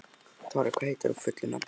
Dorri, hvað heitir þú fullu nafni?